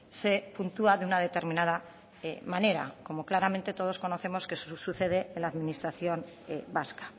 se puntúa de una determinada manera como claramente todos conocemos que sucede en la administración vasca